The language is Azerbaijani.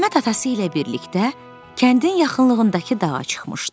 Əhməd atası ilə birlikdə kəndin yaxınlığındakı dağa çıxmışdı.